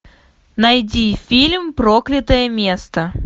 найди фильм проклятое место